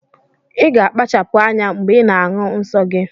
Iga akpachapu anya mgbe ina ahu nnsọgi!!